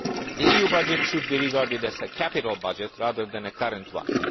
The EU budget should be regarded as a capital budget, rather than a current one.